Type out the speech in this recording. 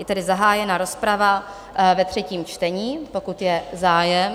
Je tedy zahájena rozprava ve třetím čtení, pokud je zájem?